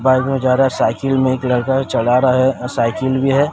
Bike में जा रहा है साइकिल मे एक लड़का चला रहा है अ साइकिल भी है।